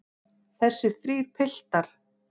Þessir þrír piltar.